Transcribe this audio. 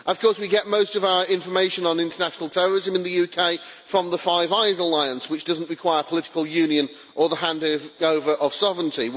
Of course we get most of our information on international terrorism in the UK from the Five Eyes Alliance, which doesn't require political union or the handing-over of sovereignty.